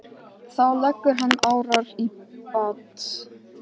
Þá leggur hann árar í bát.